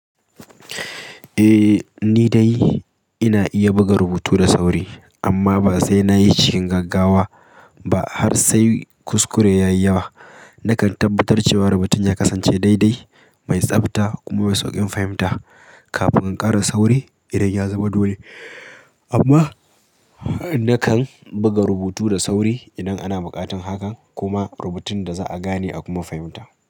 Eh ni dai ina iya buga rubutu da sauri amma ba sai nayishi cikin gaggawa ba har sai kuskure ya yi yawa. Nakan tabbatar cewa rubutun ya kasance daidai, mai tsabta kuma mai sauƙin fahimta kafin in ƙara sauri idan ya zama dole. Kuma nakan buga rubutu da sauri idan ana buƙatar hakan kuma rubutun da za'a gane a kuma fahimta.